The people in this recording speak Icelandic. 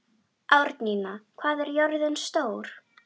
Árnína, hvað er jörðin stór?